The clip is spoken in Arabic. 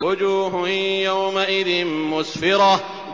وُجُوهٌ يَوْمَئِذٍ مُّسْفِرَةٌ